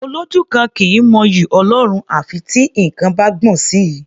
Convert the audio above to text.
Olójú kan kì í mọ'yì Ọlọ́run à fi tí nǹkan bá gbọ̀n sí i.